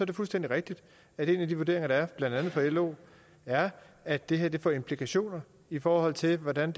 det fuldstændig rigtigt at en af de vurderinger der er blandt andet fra lo er at det her får implikationer i forhold til hvordan